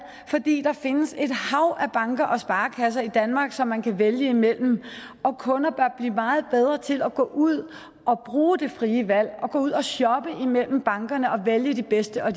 fordi der findes et hav af banker og sparekasser i danmark som man kan vælge imellem og kunder bør blive meget bedre til at gå ud og bruge det frie valg og gå ud og shoppe imellem bankerne og vælge de bedste og